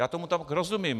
Já tomu tak rozumím.